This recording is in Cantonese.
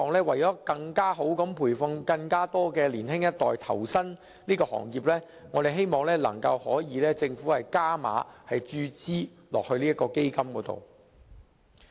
為更好地培訓更多年輕一代投身這行業，我們希望政府能夠加碼注資到這個基金。